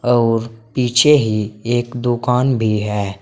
और पीछे ही एक दुकान भी है।